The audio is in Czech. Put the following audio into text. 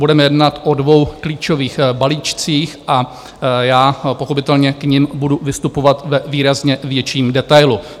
Budeme jednat o dvou klíčových balíčcích a já pochopitelně k nim budu vystupovat ve výrazně větším detailu.